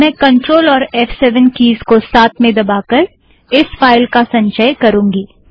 अब मैं CTRL और फ़7 कीज़केस को साथ में दबाकर इस फाइल का संचय करूँगी